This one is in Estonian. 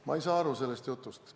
Ma ei saa sellest jutust aru.